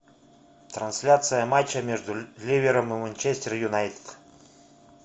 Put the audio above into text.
трансляция матча между ливером и манчестер юнайтед